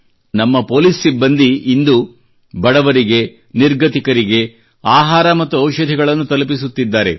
ನಮ್ಮ ಪೊಲೀಸ್ ಸಿಬ್ಬಂದಿ ಇಂದು ಬಡವರಿಗೆ ನಿರ್ಗತಿಕರಿಗೆ ಆಹಾರವನ್ನು ಮತ್ತು ಔಷಧಿಗಳನ್ನು ತಲುಪಿಸುತ್ತಿದ್ದಾರೆ